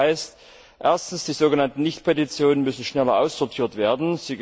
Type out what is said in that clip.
Das heißt erstens Die so genannten Nichtpetitionen müssen schneller aussortiert werden.